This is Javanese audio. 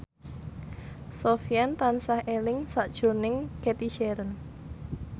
Sofyan tansah eling sakjroning Cathy Sharon